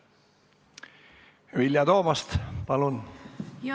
Vilja Toomast, palun!